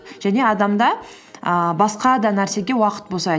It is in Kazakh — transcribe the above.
және адамда ііі басқа да нәрсеге уақыт босайды